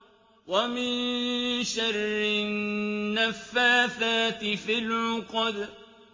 وَمِن شَرِّ النَّفَّاثَاتِ فِي الْعُقَدِ